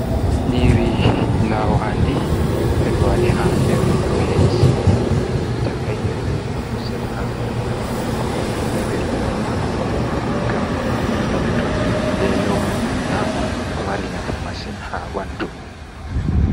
Nyiiri laawandi ɓe ɗo waɗi haa nder pilet bee takai enan ta kusel haa nder maajum nyiiri nii ɓe ɗo nyaama ngam tagu to nani veelo nyaama marinafu masin haa ɓandu.